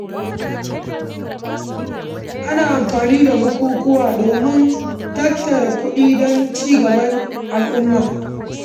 Ana amfani da bukukuwa domin tattara kuɗi don ci gaban al’umma.